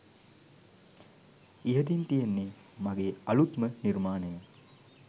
ඉහතින් තියෙන්නෙ මගේ අලුත්ම නිර්මාණය